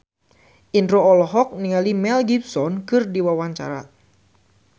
Indro olohok ningali Mel Gibson keur diwawancara